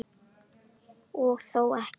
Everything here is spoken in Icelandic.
Og þó ekki.